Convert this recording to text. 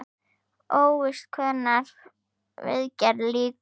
Óvíst er hvenær viðgerð lýkur.